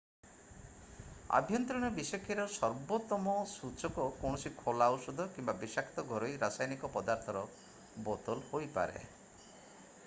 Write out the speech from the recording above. ଆଭ୍ୟନ୍ତରୀଣ ବିଷକ୍ରିୟାର ସର୍ବୋତ୍ତମ ସୂଚକ କୌଣସି ଖୋଲା ଔଷଧ କିମ୍ବା ବିଷାକ୍ତ ଘରୋଇ ରାସାୟନିକ ପଦାର୍ଥର ବୋତଲ ହୋଇପାରେ